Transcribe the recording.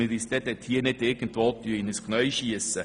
Nicht, dass wir uns plötzlich «selber ins Knie schiessen».